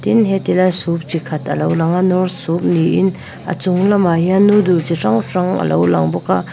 tin he ti lai soup chi khat a lo langa knorr soup ni in a chung lamah hian noodles chi hrang hrang alo lang bawk a.